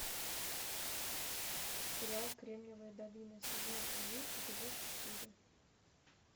сериал кремниевая долина сезон один эпизод четыре